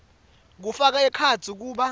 kufaka ekhatsi kuba